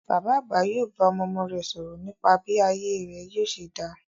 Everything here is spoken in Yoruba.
Bàbá àgbà yóò bá ọmọọmọ rẹ̀ sọ̀rọ̀ nípa bí ayé rẹ̀ yóò ṣe dá.